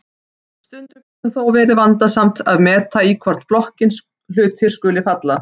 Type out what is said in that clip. Stundum getur þó verið vandasamt að meta í hvorn flokkinn hlutir skuli falla.